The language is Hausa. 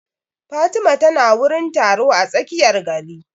Fatima ta na wurin taro a tsakiyar gari